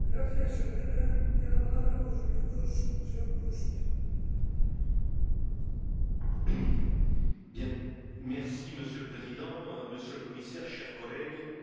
Monsieur le Président, Monsieur le Commissaire, chers collègues, j'ai écouté avec beaucoup d'attention ce qui vient d'être dit et je dois vous avouer que je suis inquiet de la tournure que prennent les événements.